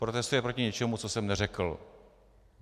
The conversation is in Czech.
Protestuje proti něčemu, co jsem neřekl.